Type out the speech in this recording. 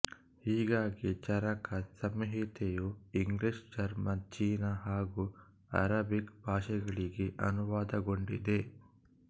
ಹೀಗಾಗಿ ಚರಕ ಸಂಹಿತೆಯೂ ಇಂಗ್ಲೀಷ್ ಜರ್ಮನ್ ಚೀನಾ ಹಾಗೂ ಅರೇಬಿಕ್ ಭಾಷೆಗಳಿಗೆ ಅನುವಾದಗೊಂಡಿದೆ